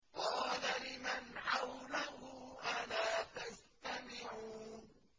قَالَ لِمَنْ حَوْلَهُ أَلَا تَسْتَمِعُونَ